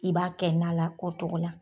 I b'a kɛ na la o togo la